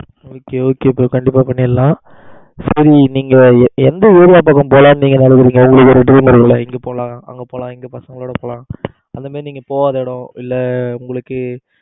okay okay bro கண்டிப்பா பண்ணிறலாம். சரி நீங்க எந்த ஊர் பக்கம் போலாம்னு நீங்க நினைக்கிறீங்க? உங்களுக்கு ஒரு dream இருக்கும் இல்ல இங்க போலாம் அங்க பசங்களோட போலாம்னு அந்த மாதிரி நீங்க போகாத இடம் இல்ல உங்களுக்கு